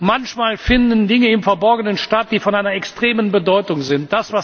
Manchmal finden Dinge im Verborgenen statt, die von einer extremen Bedeutung sind.